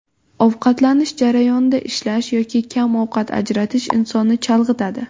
Ovqatlanish jarayonida ishlash yoki kam vaqt ajratish insonni chalg‘itadi.